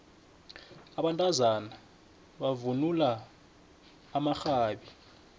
abantazana bavunula amaxhabi